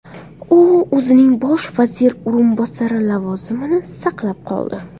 U o‘zining bosh vazir o‘rinbosari lavozimini saqlab qoldi.